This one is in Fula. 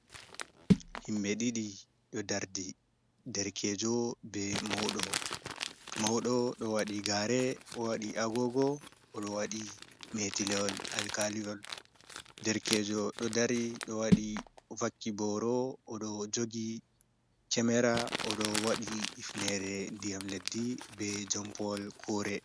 Himɓe ɗiɗi ɗo dardi, derkejo be mauɗo, mauɗo ɗo waɗi gare, o waɗi agogo, oɗo waɗi metilewol alkaliyol, derkejo ɗo dari ɗo waɗi vakki boro, oɗo jogi cemera, o ɗo waɗi ifnere ndiyam leddi, be jom pawol kure.